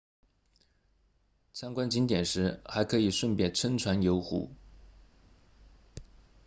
参观景点时还可以顺便乘船游湖